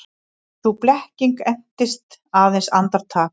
Sú blekking entist aðeins andartak.